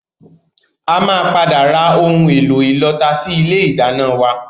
A máa padà ra ohun èlò ìlọta sì ilé ìdáná wá